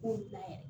Kunna yɛrɛ